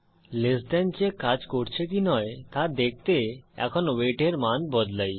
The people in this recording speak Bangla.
লেস দেন চেক কাজ করছে কি নয় তা দেখতে এখন ওয়েট এর মান বদলাই